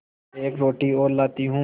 एक रोटी और लाती हूँ